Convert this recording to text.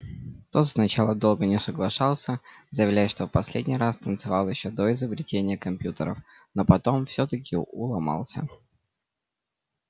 тот сначала долго не соглашался заявляя что в последний раз танцевал ещё до изобретения компьютеров но потом всё-таки уломался